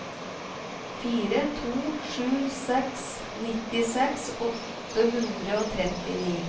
fire to sju seks nittiseks åtte hundre og trettini